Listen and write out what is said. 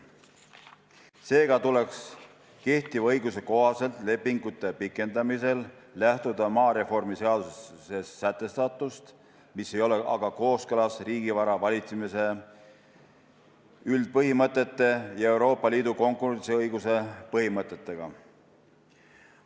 Seega tuleks kehtiva õiguse kohaselt lepingute pikendamisel lähtuda maareformi seaduses sätestatust, mis ei ole aga kooskõlas riigivara valitsemise üldpõhimõtete ja Euroopa Liidu konkurentsiõiguse põhimõtetega.